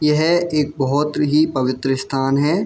ये है एक बहुत ही पवित्र स्‍थान हैं।